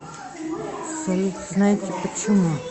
салют знаете почему